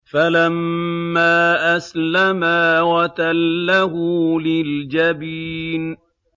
فَلَمَّا أَسْلَمَا وَتَلَّهُ لِلْجَبِينِ